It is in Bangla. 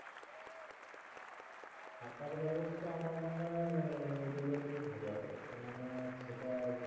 থাকার ব্যাবস্থা আমার মনে হয় new দীঘাতেই ভালো হবে কেননা সেটা